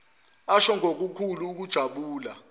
asho ngokukhulu ukujabula